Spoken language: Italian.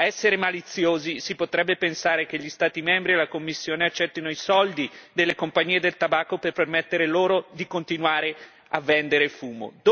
A essere maliziosi si potrebbe pensare che gli Stati membri e la Commissione accettino i soldi delle compagnie del tabacco per permettere loro di continuare a vendere fumo.